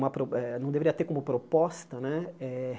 Uma pro eh não deveria ter como proposta, né? Eh